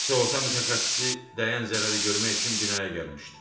Sığorta mütəxəssisi dəyən zərəri görmək üçün binaya gəlmişdi.